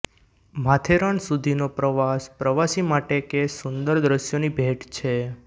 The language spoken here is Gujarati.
માથેરાન સુધીનો પ્રવાસ પ્રવાસી માટે કે સુંદર દ્રશ્યોની ભેટ છે